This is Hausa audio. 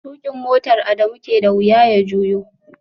Tukin motar Adamu ke da wuya ya juyo